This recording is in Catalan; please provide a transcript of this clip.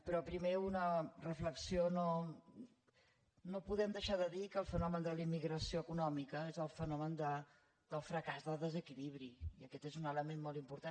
però primer una reflexió no podem deixar de dir que el fenomen de la immigració econòmica és el fenomen del fracàs del desequilibri i aquest és un element molt important